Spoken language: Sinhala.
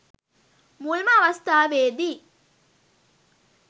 මුල්ම අවස්ථාවේදි